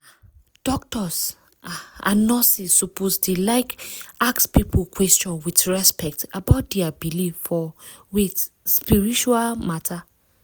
ah! doctors ah and nurses suppose dey like ask people question with respect about dia believe for wait - spiritual matter.